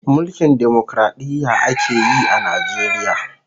Mulkin Demokradiyya akeyi a Najeriya